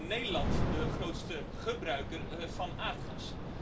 Het is in Nederland de grootste gebruiker van aardgas.